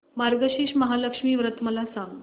मार्गशीर्ष महालक्ष्मी व्रत मला सांग